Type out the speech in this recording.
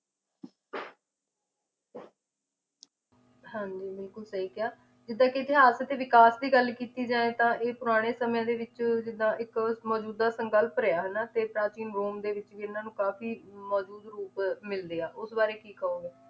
ਹਾਂਜੀ ਬਿਲਕੁਲ ਸਹੀ ਕਿਹਾ ਜਿਦਾ ਕਿ ਇਤਿਹਾਸ ਤੇ ਵਿਕਾਸ ਦੀ ਗੱਲ ਕੀਤੀ ਜਾਏ ਤਾਂ ਇਹ ਪੁਰਾਣੇ ਸਮਿਆਂ ਦੇ ਵਿੱਚ ਜਿਦਾਂ ਇੱਕ ਅਹ ਮਜੂਦਾ ਸੰਕਲਪ ਰਿਹਾ ਹਨਾਂ ਤੇ ਪ੍ਰਾਚੀਨ ਰੋਮ ਦੇ ਵਿੱਚ ਵੀ ਇਹਨਾਂ ਨੂੰ ਕਾਫੀ ਮੌਜੂਦ ਰੂਪ ਮਿਲਦੇ ਆ ਉਸ ਬਾਰੇ ਕੀ ਕਹੋਗੇ